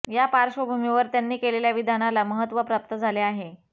या पार्श्वभूमीवर त्यांनी केलेल्या विधानाला महत्त्व प्राप्त झाले आहे